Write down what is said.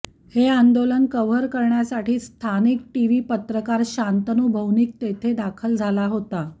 हे आंदोलन कव्हर करण्यासाठी स्थानिक टीव्ही पत्रकार शांतनु भौमिक तेथे दाखल झाला होता